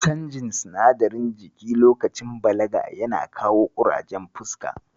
Canjin sinadarin jiki lokacin balaga yana kawo ƙurajen fuska.